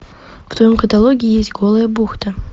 в твоем каталоге есть голая бухта